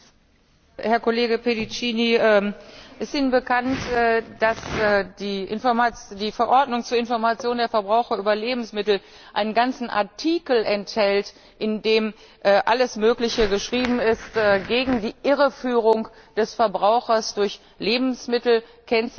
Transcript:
Herr Kollege Pedicini, ist Ihnen bekannt, dass die Verordnung zur Information der Verbraucher über Lebensmittel einen ganzen Artikel enthält, in dem alles Mögliche geschrieben ist gegen die Irreführung des Verbrauchers durch Lebensmittelkennzeichnung?